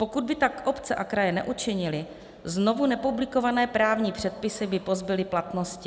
Pokud by tak obce a kraje neučinily, znovu nepublikované právní předpisy by pozbyly platnosti.